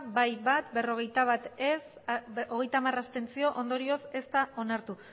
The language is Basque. bai bat ez berrogeita bat abstentzioak hogeita hamar ondorioz ez da onartu